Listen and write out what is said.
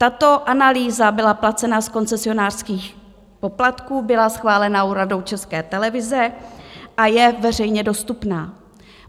Tato analýza byla placena z koncesionářských poplatků, byla schválena Radou České televize a je veřejně dostupná.